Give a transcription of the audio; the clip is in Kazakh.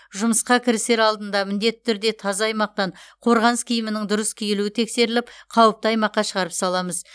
жұмысқа кірісер алдында міндетті түрде таза аймақтан қорғаныс киімінің дұрыс киілуі тексеріліп қауіпті аймаққа шығарып саламыз